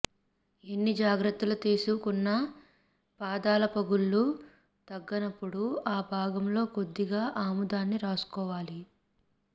ఎన్ని జాగ్రత్తలు తీసు కున్నా పాదాల పగుళ్లు తగ్గనప్పుడు ఆ భాగంలో కొద్దిగా ఆముదాన్ని రాసుకోవాలి